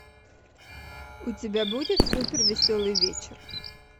у тебя будет супер веселый вечер